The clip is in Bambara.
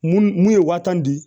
Mun mun ye waa tan di